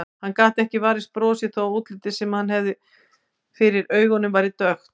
Hann gat ekki varist brosi þó að útlitið sem hann hafði fyrir augunum væri dökkt.